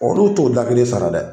Olu t'o da kelen sara dɛ